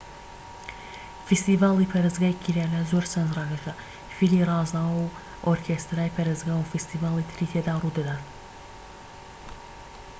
فیستیڤالی پەرستگای کیرالا زۆر سەرنجراکێشە فیلی رازاوە و ئۆرکێسترای پەرستگا و فیستیڤالی تری تێدا ڕوودەدات